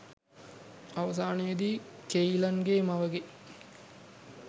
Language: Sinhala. අවසානයෙදි කෙයිලන්ගෙ මවගෙ